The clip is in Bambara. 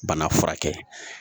Bana furakɛ